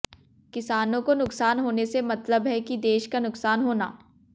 किसानों को नुकसान होने से मतलब है कि देश का नुकसान होना